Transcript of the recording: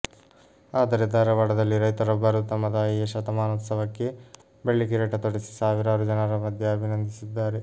ಆದರೆ ಧಾರವಾಡದಲ್ಲಿ ರೈತರೊಬ್ಬರು ತಮ್ಮ ತಾಯಿಯ ಶತಮಾನೋತ್ಸವಕ್ಕೆ ಬೆಳ್ಳಿ ಕಿರೀಟ ತೊಡಿಸಿ ಸಾವಿರಾರು ಜನರ ಮಧ್ಯೆ ಅಭಿನಂದಿಸಿದ್ದಾರೆ